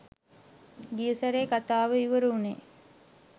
ගිය සැරේ කතාව ඉවර වුනේ